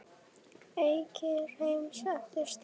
Eyríki heims eftir stærð